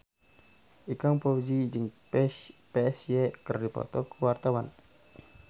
Ikang Fawzi jeung Psy keur dipoto ku wartawan